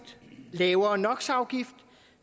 har jo